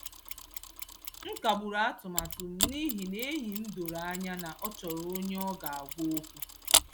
M kagburu atụmatụ m n’ihi na enyi m doro anya na ọ chọrọ onye ọ ga-agwa okwu.